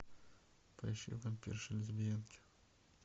поищи вампирши лесбиянки